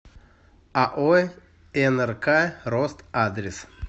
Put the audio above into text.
ао нрк рост адрес